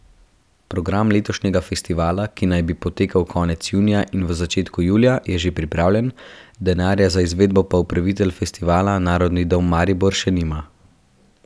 Program letošnjega festivala, ki naj bi potekal konec junija in v začetku julija, je že pripravljen, denarja za izvedbo pa upravitelj festivala, Narodni dom Maribor, še nima.